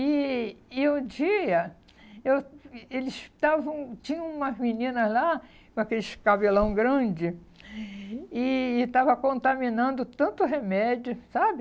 E e o dia, eu e eles estavam, tinham umas meninas lá com aqueles cabelão grande e e estava contaminando tanto remédio, sabe?